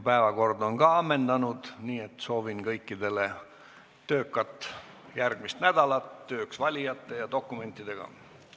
Päevakord on ka ammendunud, nii et soovin kõikidele töökat järgmist nädalat töös valijate ja dokumentidega.